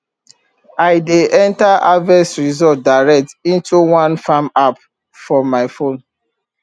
i dey enter harvest result direct into one farm app for my phone